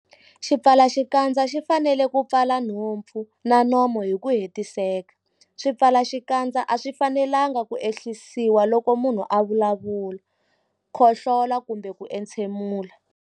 Xipfalaxikandza xi fanele ku pfala nhompfu na nomo hi ku hetiseka. Swipfalaxikandza a swi fanelanga ku ehlisiwa loko munhu a vulavula, khohlola kumbe ku entshemula.